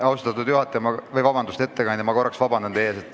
Austatud ettekandja, palun korraks vabandust!